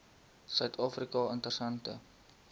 suid afrika interessante